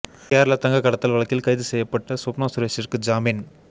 கேரள தங்கக் கடத்தல் வழக்கில் கைது செய்யப்பட்ட ஸ்வப்னா சுரேஷிற்கு ஜாமீன்